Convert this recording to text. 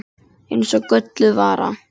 Eins og gölluð vara.